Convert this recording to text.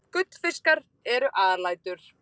Gullfiskar eru alætur.